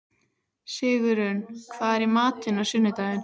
Sigurunn, hvað er í matinn á sunnudaginn?